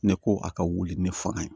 Ne ko a ka wuli ne fanga ye